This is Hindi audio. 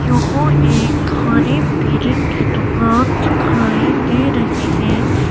यहां एक खाने पीने की दुकान दिखाई दे रही हैं।